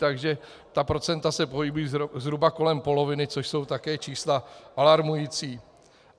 Takže ta procenta se pohybují zhruba kolem poloviny, což jsou také čísla alarmující.